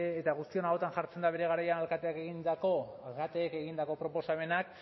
eta guztion ahotan jartzen da bere garaian alkateak egindako alkateek egindako proposamenak